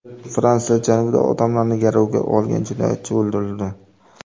Fransiya janubida odamlarni garovga olgan jinoyatchi o‘ldirildi.